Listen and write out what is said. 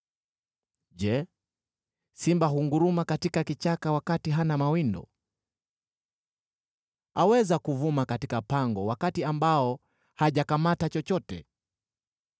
Je, simba hunguruma katika kichaka wakati hana mawindo? Aweza kuvuma katika pango wakati ambao hajakamata chochote?